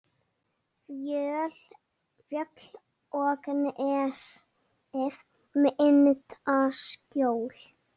Fjöll og nesið mynda skjól.